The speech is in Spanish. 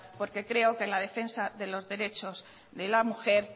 porque creo que en la defensa de los derechos de la mujer